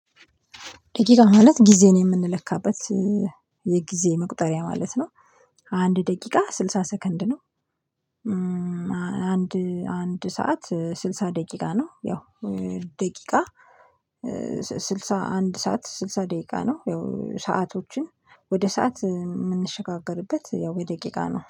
ደቂቃ ማለት ጊዜን የምንለካበት የጊዜ መቁጠሪያ ማለት ነው። አንድ ደቂቃ ስልሳ ሰከንድ ነው። አንድ አንድ ሰዓት ስልሳ ደቂቃ ነው። ያው ደቂቃ ስልሳ አንድ ሰዓት ስልሳ ደቂቃ ነው ያው ሰአቶችን ወደ ሰዓት የምንሸጋገርበት ያው ወደ ደቂቃ ነው።